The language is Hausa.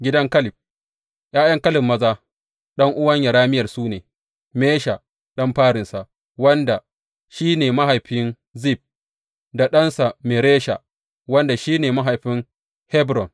Gidan Kaleb ’Ya’yan Kaleb maza, ɗan’uwan Yerameyel su ne, Mesha ɗan farinsa, wanda shi ne mahaifin Zif, da ɗansa Maresha, wanda shi ne mahaifin Hebron.